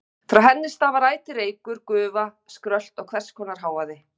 Frá henni stafar ætíð reykur, gufa, skrölt og hvers konar hávaði.